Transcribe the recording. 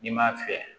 N'i m'a fiyɛ